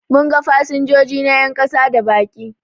Mun ga fasinjoji na 'yan kasa da baki